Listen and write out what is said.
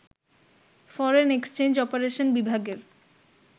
foreign exchange operation বিভাগের